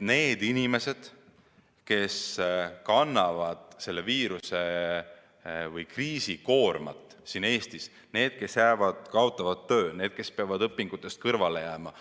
Need inimesed, kes kannavad Eestis selle viiruse või kriisi koormat – need, kes kaotavad töö, need, kes peavad õpingutest kõrvale jääma,